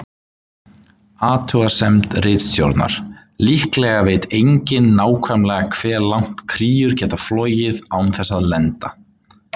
Athugasemd ritstjórnar: Líklega veit enginn nákvæmlega hve langt kríur geta flogið án þess að lenda.